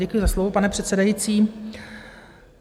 Děkuji za slovo, pane předsedající.